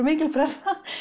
mikil pressa